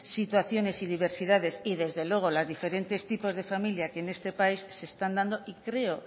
situaciones y diversidades y desde luego las diferentes tipos de familia que en este país se están dando y creo